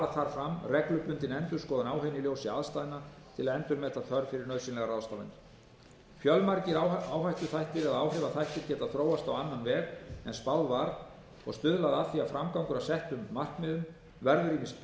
fram reglubundin endurskoðun á henni í ljósi aðstæðna til að endurmeta þörf fyrir nauðsynlegar ráðstafanir fjölmargir áhrifaþættir geta þróast á annan veg en spáð var og stuðlað að því að framgangur að settum markmiðum verður ýmist